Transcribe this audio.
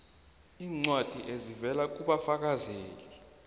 iincwadi ezivela kubafakazeli